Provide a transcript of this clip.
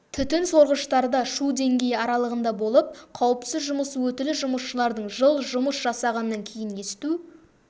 түтін сорғыштарда шу деңгейі аралығында болып қауіпсіз жұмыс өтілі жұмысшылардың жыл жұмыс жасағаннан кейін есту